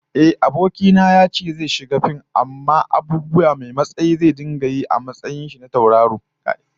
Ehh, abokina yace zai shiga fim amma abubuwa masu hatsari zai rika yi a madadin taurari